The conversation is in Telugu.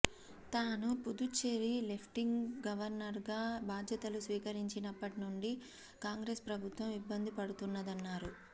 తాను పుదుచ్చేరి లెఫ్ట్నెంట్ గవర్నర్గా బాధ్యతలు స్వీకరించినప్పటి నుంచి కాంగ్రెస్ ప్రభుత్వం ఇబ్బంది పడుతున్నదన్నారు